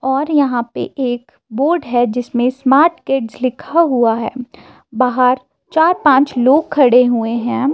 और यहां पे एक बोर्ड है जिसमें स्मार्ट किड्स लिखा हुआ हैं। बाहर चार पांच लोग खड़े हुए हैं।